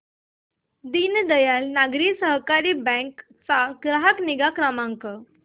दीनदयाल नागरी सहकारी बँक चा ग्राहक निगा क्रमांक